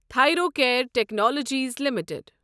Thyrocare technologies limited